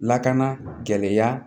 Lakana gɛlɛya